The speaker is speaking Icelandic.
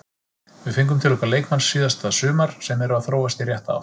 Við fengum til okkar leikmenn síðasta sumar sem eru að þróast í rétta átt.